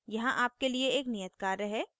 यहाँ आपके लिए एक नियत कार्य है